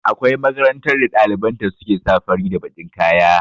Akwai makarantar da ɗaliban ta su ke sa fari da bakin kaya